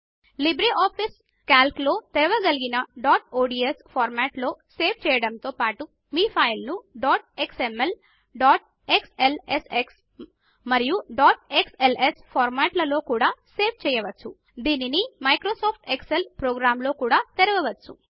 LibreOffice Calc లో తెరవగలిగిన dot ODS format లో సేవ్ చేయడముతో పాటు మీ ఫైల్ ను డాట్ ఎక్స్ఎంఎల్ డాట్ క్స్ఎల్ఎస్ఎక్స్ మరియు డాట్ క్స్ఎల్ఎస్ ఫార్మాట్ లలో కూడా సేవ్ చేయవచ్చు దీనిని మ్సోఫిస్ ఎక్సెల్ ప్రోగ్రామ్ లో కూడా తెరవవచ్చు